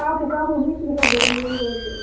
Kapu Kapu beach ಗೆ ಹೋಗ್ಬೇಕಂತ ಅಂದ್ಕೊಂಡಿದ್ದೇವೆ